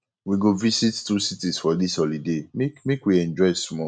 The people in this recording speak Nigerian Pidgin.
we go visit two cities for dis holiday make make we enjoy small